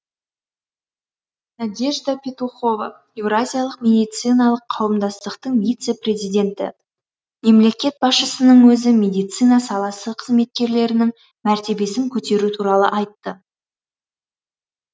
надежда петухова еуразиялық медициналық қауымдастықтың вице президенті мемлекет басшысының өзі медицина саласы қызметкерлерінің мәртебесін көтеру туралы айтты